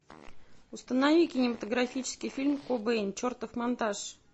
установи кинематографический фильм кобейн чертов монтаж